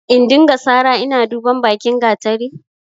In dinga sara ina duban bakin gatari?